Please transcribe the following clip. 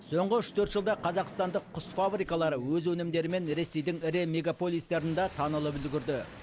соңғы үш төрт жылда қазақстандық құс фабрикалары өз өнімдерімен ресейдің ірі мегаполистерінда танылып үлгірді